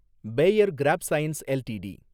Bayer crop science LTD